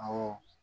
Awɔ